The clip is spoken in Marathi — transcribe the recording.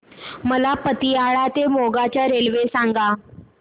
मला पतियाळा ते मोगा च्या रेल्वे सांगा